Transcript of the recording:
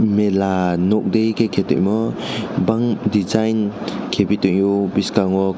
mela nog de keytangmo bang degine kepi tangyo boskango.